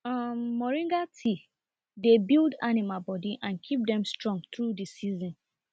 um moringa tea dey build animal body and keep dem strong through the season